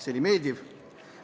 See oli meeldiv.